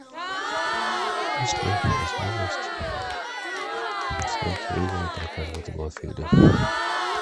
есть ли возможность снять лыжи на прокат в этом отеле